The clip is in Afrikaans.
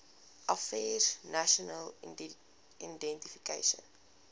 affairs national identification